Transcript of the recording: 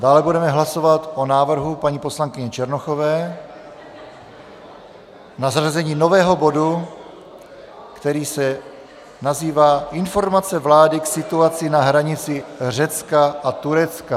Dále budeme hlasovat o návrhu paní poslankyně Černochové na zařazení nového bodu, který se nazývá Informace vlády k situaci na hranici Řecka a Turecka.